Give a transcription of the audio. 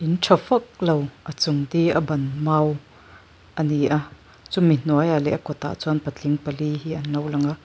tha vak lo a chung di a ban mau a ni a chumi hnuaiah chuan patling pali hi an lo lang a.